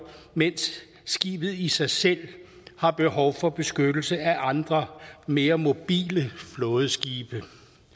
mens skibet i sig selv har behov for beskyttelse af andre mere mobile flådeskibe